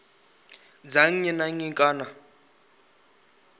dza nnyi na nnyi kana